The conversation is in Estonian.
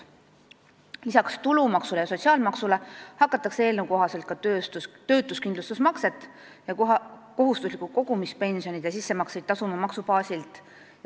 Lisaks tulumaksule ja sotsiaalmaksule hakatakse eelnõu kohaselt ka töötuskindlustusmakset ja kohustuslikke kogumispensionide sissemakseid tasuma maksubaasilt.